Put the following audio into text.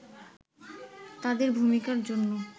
তাদের ভূমিকার জন্য